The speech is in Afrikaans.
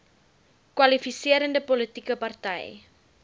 kwalifiserende politieke party